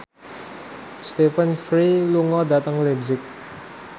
Stephen Fry lunga dhateng leipzig